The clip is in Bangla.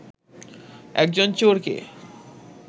একজন চোরকে